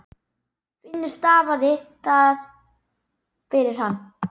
Finnur stafaði það fyrir hann.